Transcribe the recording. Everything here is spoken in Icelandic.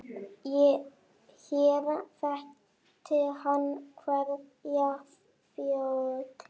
Hér þekkti hann hverja fjöl.